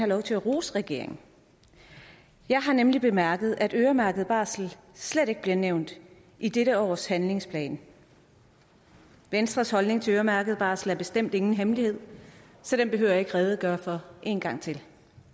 lov til at rose regeringen jeg har nemlig bemærket at øremærket barsel slet ikke bliver nævnt i dette års handlingsplan venstres holdning til øremærket barsel er bestemt ingen hemmelighed så den behøver jeg ikke at redegøre for en gang til